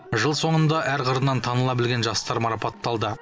жыл соңында әр қырынан таныла білген жастар марапатталды